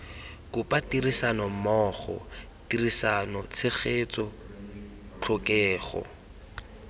kopa tirisanommogo tirisano tshegetso tlhokego